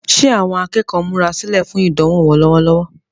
Ṣé àwọn akẹ́kọ̀ọ́ ń múra sílẹ̀ fún idanwo wọn lọ́wọ́lọ́wọ́?